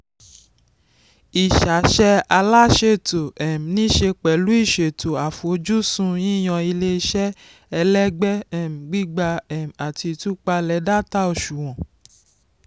ìṣàṣe aláṣètò um nìṣẹ́ pẹ̀lú ìṣètò àfojúsùn yíyan ilé-iṣẹ́ ẹlẹ́gbẹ́ um gbígbà um àti ìtúpalẹ̀ data òṣùwọ̀n.